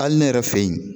Hali ne yɛrɛ fɛ yen